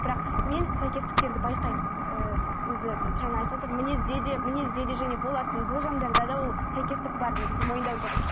бірақ мен сәйкестіктерді байқаймын ы өзі жаңа айтып отыр мінезде де мінезде де және болатын болжамдарда да ол сәйкестік бар негізі мойындау керек